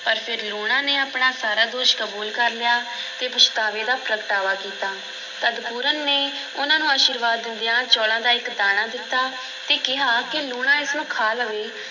ਪਰ ਫਿਰ ਲੂਣਾ ਨੇ ਆਪਣਾ ਸਾਰਾ ਦੋਸ਼ ਕਬੂਲ ਕਰ ਲਿਆ ਅਤੇ ਪਛਤਾਵੇ ਦਾ ਪ੍ਰਗਟਾਵਾ ਕੀਤਾ, ਤਦ ਪੂਰਨ ਨੇ ਉਹਨਾਂ ਨੂੰ ਅਸ਼ੀਰਵਾਦ ਦਿੰਦਿਆਂ ਚੌਲਾਂ ਦਾ ਇੱਕ ਦਾਣਾ ਦਿੱਤਾ ਤੇ ਕਿਹਾ ਕਿ ਲੂਣਾ ਇਸ ਨੂੰ ਖਾ ਲਵੇ